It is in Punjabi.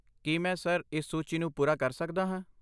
ਕੀ ਮੈਂ, ਸਰ, ਇਸ ਸੂਚੀ ਨੂੰ ਪੂਰਾ ਕਰ ਸਕਦਾ ਹਾਂ?